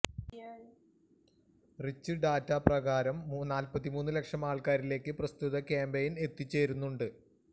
reach data പ്രകാരം നാല്പത്തിമൂന്ന് ലക്ഷം ആള്ക്കാരിലേക്ക് പ്രസ്തുത ക്യാമ്പെയ്ന് എത്തിച്ചേര്ന്നിട്ടുണ്ട്